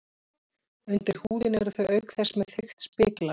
Undir húðinni eru þau auk þess með þykkt spiklag.